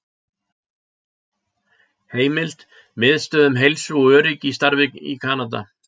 Heimild: Miðstöð um heilsu og öryggi í starfi í Kanada